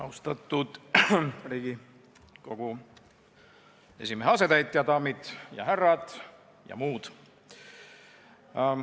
Austatud Riigikogu esimehe asetäitja, daamid ja härrad ja muud!